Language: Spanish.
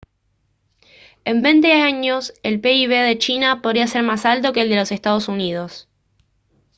en veinte años el pib de china podría ser más alto que el de los estados unidos